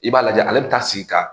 I b'a lajɛ ale bɛ taa sigi ka